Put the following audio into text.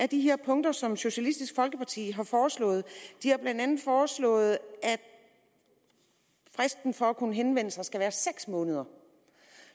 de her punkter som socialistisk folkeparti har foreslået de har blandt andet foreslået at fristen for at kunne henvende sig skal være seks måneder